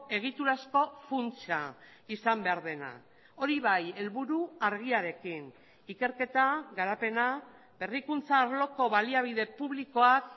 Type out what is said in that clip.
egitura asko funtsa izan behar dena hori bai helburu argiarekin ikerketa garapena berrikuntza arloko baliabide publikoak